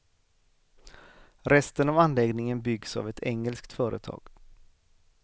Resten av anläggningen byggs av ett engelskt företag.